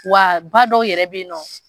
Wa ba dɔw yɛrɛ b'i nɔ.